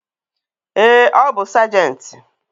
Ee, ọ bu sajenti